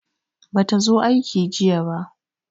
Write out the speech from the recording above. Bata zo aiki jiya ba.